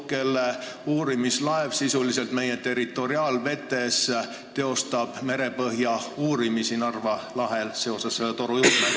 Nende uurimislaev teeb ju seoses selle torujuhtmega sisuliselt meie territoriaalvetes Narva lahes merepõhja uuringuid.